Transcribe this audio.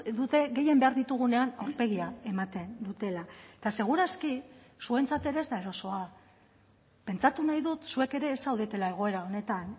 dute gehien behar ditugunean aurpegia ematen dutela eta seguraski zuentzat ere ez da erosoa pentsatu nahi dut zuek ere ez zaudetela egoera honetan